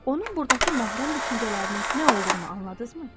Onun burdakı məhrəm düşüncələrinin nə olduğunu anladınızmı?